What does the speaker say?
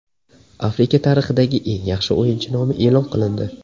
Afrika tarixidagi eng yaxshi o‘yinchi nomi e’lon qilindi.